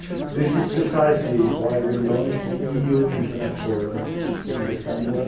This is precisely why we launched the EU Internet Forum in December